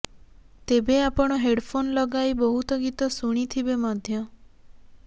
ତେବେ ଆପଣ ହେଡ଼ଫୋନ୍ ଲଗାଇ ବହୁତ ଗୀତ ଶୁଣିଥିବେ ମଧ୍ୟ